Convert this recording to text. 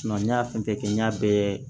n y'a fɛn fɛn kɛ n y'a bɛɛ